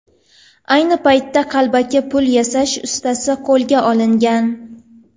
Ayni paytda qalbaki pul yasash ustasi qo‘lga olingan.